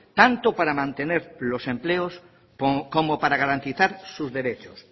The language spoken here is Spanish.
tanto para mantener los empleos como para garantizar susderechos